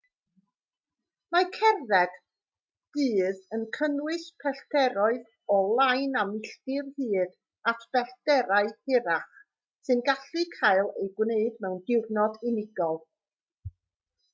mae cerdded dydd yn cynnwys pellteroedd o lai na milltir hyd at bellterau hirach sy'n gallu cael eu gwneud mewn diwrnod unigol